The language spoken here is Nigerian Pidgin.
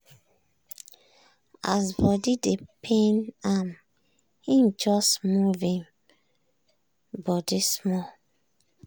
as body dey pain am im just move im body small.